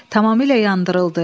Tamamilə yandırıldı.